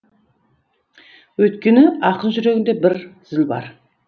өйткені ақын жүрегінде бір зіл бар